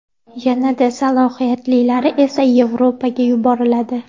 Yana-da salohiyatlilari esa Yevropaga yuboriladi.